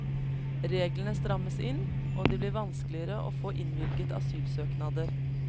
Reglene strammes inn, og det blir vanskeligere å få innvilget asylsøknader.